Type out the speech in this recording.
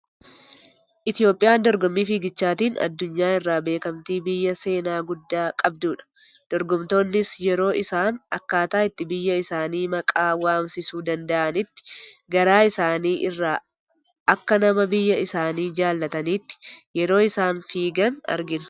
Itoophiyaan dorgommii fiigichaatiin adunyaa irraa beekkamtii biyya seenaa guddaa qabdudha. Dorgomtoonnis yeroo isaan akkaataa itti biyya isaanii maqaa waamsisuu danda'anitti garaa isaanii, irraa akka nama biyya isaanii jaallataniitti yeroo isaan fiigan argina.